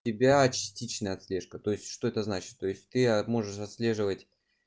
тебя частичная отслежка то есть что это значит то есть ты можешь отслеживать